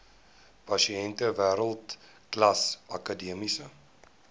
pasiënte wêreldklas akademiese